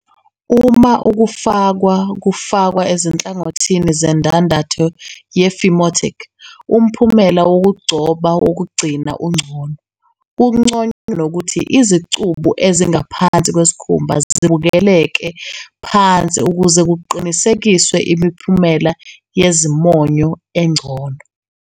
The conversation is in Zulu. Uma ukufakwa kufakwa ezinhlangothini zendandatho ye-phimotic, umphumela wokugcoba wokugcina ungcono. Kunconywa nokuthi izicubu ezingaphansi kwesikhumba zibukeleke phansi ukuze kuqinisekiswe imiphumela yezimonyo engcono.